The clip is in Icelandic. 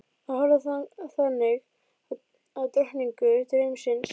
Að horfa þannig á drottningu draumsins.